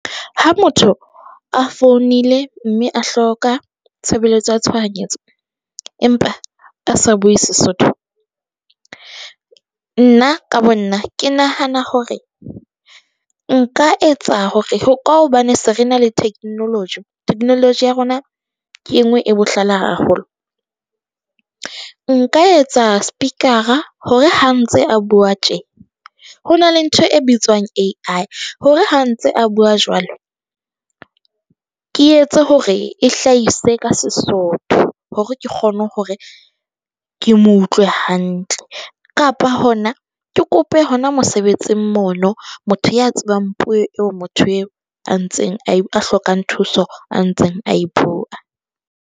Ha motho a founile, mme a hloka tshebeletso ya tshohanyetso, empa a sa bue Sesotho. Nna ka bo nna ke nahana hore nka etsa hore ka hobane se re na le theknoloji, technology ya rona, ke e nngwe e bohlale haholo. Nka etsa speaker-a hore ha ntse a bua tje. Ho na le ntho e bitswang A_I hore ha ntse a bua jwalo, ke etse hore e hlahise ka Sesotho hore ke kgone hore ke mo utlwe hantle, kapa hona ke kope hona mosebetsing mono. Motho ya tsebang puo eo motho eo a ntseng a hlokang thuso a ntseng a e bua.